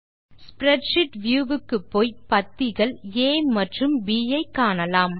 spreadsheet view க்கு போய் பத்திகள் ஆ மற்றும் ப் ஐ காணலாம்